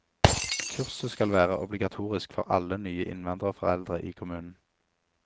Kurset skal være obligatorisk for alle nye innvandrerforeldre i kommunen.